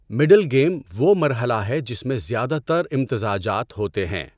Middle game وہ مرحلہ ہے جس میں زیادہ تر امتزاجات ہوتے ہیں۔